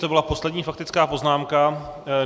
To byla poslední faktická poznámka.